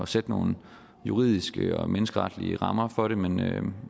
sætte nogle juridiske og menneskeretlige rammer for det men jeg vil